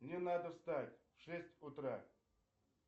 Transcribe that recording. мне надо встать в шесть утра